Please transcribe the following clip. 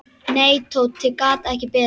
Nei, Tóti gat ekki beðið.